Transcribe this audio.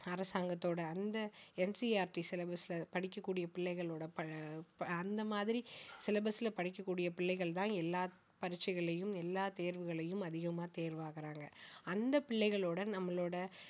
அரசாங்கத்தோட அந்த NCERT syllabus அ படிக்கக்கூடிய பிள்ளைகளோட ப~ ப~ அந்த மாதிரி syllabus ல படிக்கக்கூடிய பிள்ளைகள் தான் எல்லா பரீட்சைகள்லயும் எல்லா தேர்வுகள்லயும் அதிகமா தேர்வாகறாங்க அந்த பிள்ளைகளோட நம்மளோட